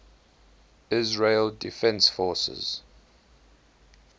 israel defense forces